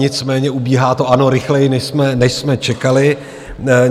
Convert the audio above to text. Nicméně ubíhá to, ano, rychleji, než jsme čekali.